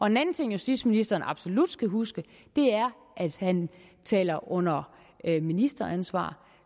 en anden ting justitsministeren absolut skal huske er at han taler under ministeransvar